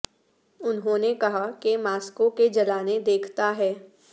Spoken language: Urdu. انہوں نے کہا کہ ماسکو کے جلانے دیکھتا ہے